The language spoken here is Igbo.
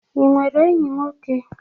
I nwere enyi nwoke?